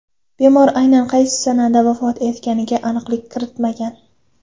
Bemor aynan qaysi sanada vafot etganiga aniqlik kiritilmagan .